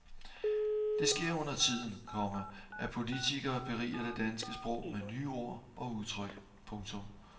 Det sker undertiden, komma at politikerne beriger det danske sprog med nye ord og udtryk. punktum